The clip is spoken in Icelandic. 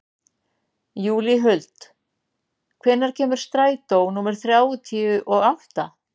Júlíhuld, hvenær kemur strætó númer þrjátíu og átta?